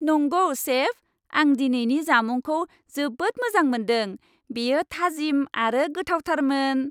नंगौ, सेफ! आं दिनैनि जामुंखौ जोबोद मोजां मोनदों। बेयो थाजिम आरो गोथावथारमोन!